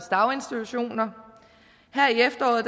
daginstitutioner her i efteråret